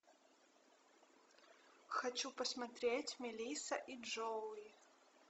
хочу посмотреть мелисса и джоуи